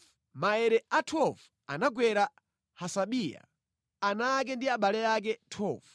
Maere a 12 anagwera Hasabiya, ana ake ndi abale ake. 12